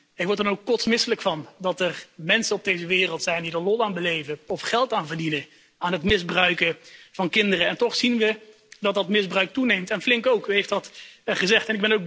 Ik word er dan ook kotsmisselijk van dat er mensen op deze wereld zijn die lol beleven of geld verdienen aan het misbruiken van kinderen. En toch zien we dat dat misbruik toeneemt, en flink ook, u heeft dat gezegd.